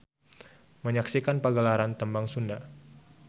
Menyaksikan pergelaran tembang Sunda.